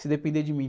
Se depender de mim.